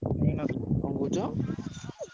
କଣ କହୁଛ?